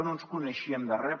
no ens coneixíem de res